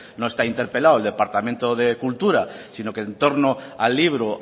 esta interpelado el departamento de cultura sino que en torno al libro